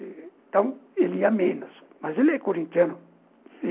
Então ele e a menos, mas ele é corintiano.